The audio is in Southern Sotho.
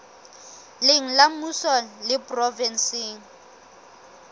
leng la mmuso le provenseng